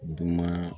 Dunan